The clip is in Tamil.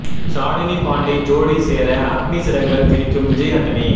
ஷாலினி பாண்டே ஜோடி சேர அக்னி சிறகுகள் விரிக்கும் விஜய் ஆண்டனி